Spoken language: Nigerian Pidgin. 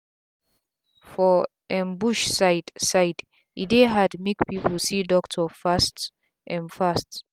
for um bush side side e dey hard make pipu see doctor fast um fast